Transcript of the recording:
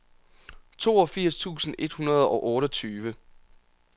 toogfirs tusind et hundrede og otteogtyve